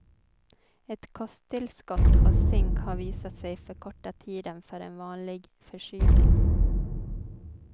Ett kosttillskott av zink har visat sig förkorta tiden för en vanlig förkylning.